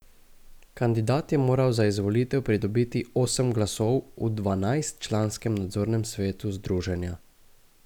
Kandidat je moral za izvolitev pridobiti osem glasov v dvanajstčlanskem nadzornem svetu združenja.